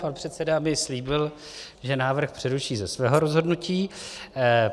Pan předseda mi slíbil, že návrh přeruší ze svého rozhodnutí.